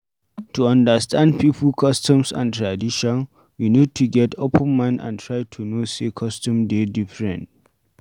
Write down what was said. To understand pipo customs and tradition we need to get open mind and try to know say customs dey differernt